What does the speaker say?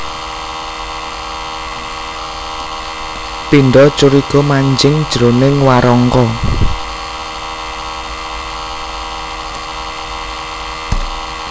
Pindha curiga manjing jroning warangka